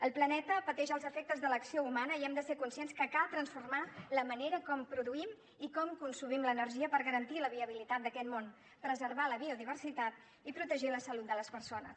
el planeta pateix els efectes de l’acció humana i hem de ser conscients que cal transformar la manera com produïm i com consumim l’energia per garantir la viabilitat d’aquest món preservar la biodiversitat i protegir la salut de les persones